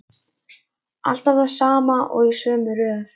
Alltaf það sama og í sömu röð.